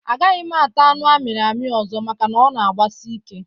A gaghị m ata anụ amiri ami ọzọ maka na ọ na agbasi ike